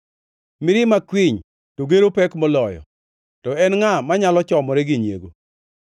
Mirima kwiny to gero pek moloyo, to en ngʼa manyalo chomore gi nyiego?